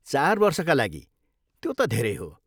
चार वर्षका लागि, त्यो त धेरै हो।